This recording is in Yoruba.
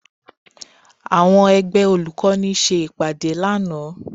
Àwọn ẹgbẹ́ olùkọ́ni ṣe ìpàdé lánàá